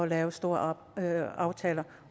lave store aftaler